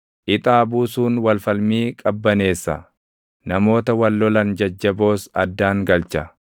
Ixaa buusuun wal falmii qabbaneessa; namoota wal lolan jajjaboos addaan galcha.